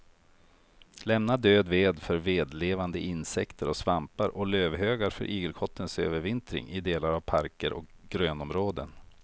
Lämna död ved för vedlevande insekter och svampar och lövhögar för igelkottens övervintring i delar av parker och grönområden.